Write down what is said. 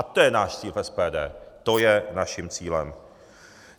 A to je náš cíl v SPD, to je naším cílem.